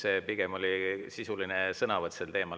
See pigem oli sisuline sõnavõtt sel teemal.